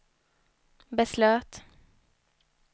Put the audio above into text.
beslöt